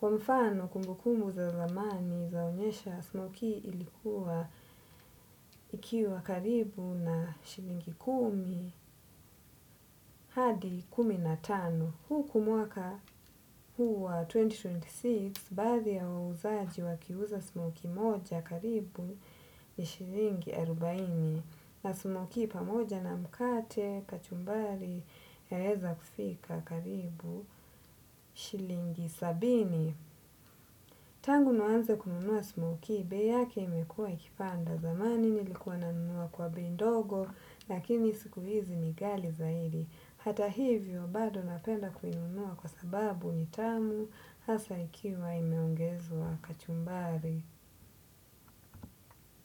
Kwa mfano kumbukumbu za zamani zaonyesha smoki ilikuwa ikiwa karibu na shilingi kumi hadi kumi na tano, huku mwaka huwa elfu mbili ishirini na sita baadhi ya wauzaji wakiuza smoki moja karibu ni shilingi arobaini na smoki pamoja na mkate, kachumbari yaeza kufika karibu shilingi sabini. Tangu nianze kununua smoki, bei imekuwa ikipanda. Zamani nilikuwa nanunua kwa bei ndogo lakini siku hizi ni gali zaidi. Hata hivyo, bado napenda kuzinunua kwa sababu ni tamu hasa ikiwa imeongezwa kachumbari.